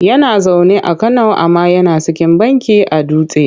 Yana zaune a Kano amma yana sikin banki a Dutse.